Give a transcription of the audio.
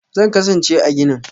Zan kasance a ginin.